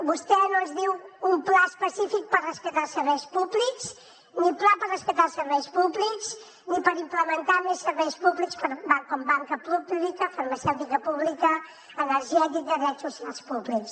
vostè no ens diu un pla específic per rescatar els serveis públics ni pla per rescatar els serveis públics ni per implementar més serveis públics com banca pública farmacèutica pública energètica drets socials públics